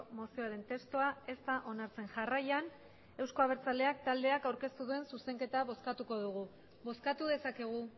mozioaren testua ez da onartzen jarraian euzko abertzaleak taldeak aurkeztu duen zuzenketa bozkatuko dugu bozkatu dezakegu